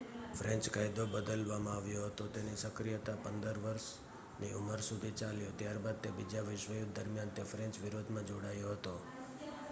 French કાયદો બદલવામાં આવ્યો હતો તેની સક્રિયતા 15 વર્ષની ઉંમર સુધી ચાલ્યો ત્યારબાદ તે બીજા વિશ્વયુદ્ધ દરમિયાન તે ફ્રેન્ચ વિરોધમાં જોડાયો હતો